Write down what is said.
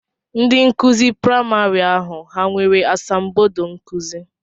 Ndị nkụzi praịmarị ahụ ha nwere asambodo nkụzi?